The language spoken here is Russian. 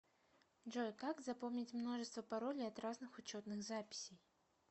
джой как запомнить множество паролей от разных учетных записей